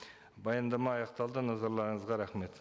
баяндама аяқталды назарларыңызға рахмет